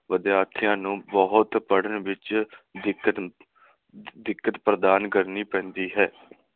ਵਿਦਿਆਰਥੀਆਂ ਨੂੰ ਬਹੁਤ ਪੜਨ ਵਿਚ ਦਿੱਕਤ, ਦਿੱਕਤ ਪ੍ਰਦਾਨ ਕਰਨੀ ਪੈਂਦੀ ਹੈ।